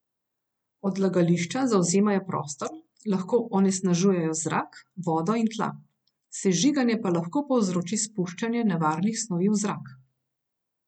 Odlagališča zavzemajo prostor, lahko onesnažujejo zrak, vodo in tla, sežiganje pa lahko povzroči spuščanje nevarnih snovi v zrak.